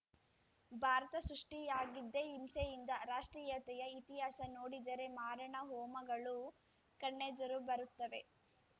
ಭಾರತ ಸೃಷ್ಟಿಯಾಗಿದ್ದೇ ಹಿಂಸೆಯಿಂದ ರಾಷ್ಟ್ರೀಯತೆಯ ಇತಿಹಾಸ ನೋಡಿದರೆ ಮಾರಣಹೋಮಗಳು ಕಣ್ಣೆದುರು ಬರುತ್ತವೆ